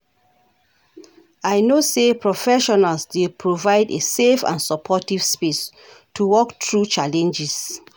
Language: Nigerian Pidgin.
I know say professionals dey help provide a safe and supportive space to work through challenges.